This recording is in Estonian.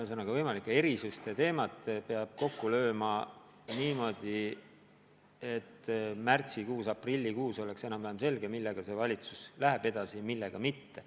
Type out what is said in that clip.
Ühesõnaga, võimalike erisuste teema peab kokku võtma niimoodi, et märtsis-aprillis oleks enam-vähem selge, millega see valitsus läheb edasi, millega mitte.